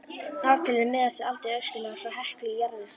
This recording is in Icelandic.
Ártölin miðast við aldur öskulaga frá Heklu í jarðvegssniðum.